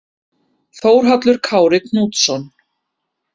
Þórhallur Kári Knútsson